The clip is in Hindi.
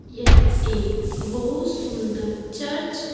यह एक बहुत सुंदर चर्च --